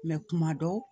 kuma dɔ